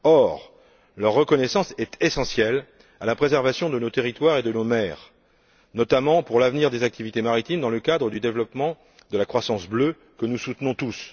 Or, leur reconnaissance est essentielle à la préservation de nos territoires et de nos mers, notamment pour l'avenir des activités maritimes dans le cadre du développement de la croissance bleue, que nous soutenons tous.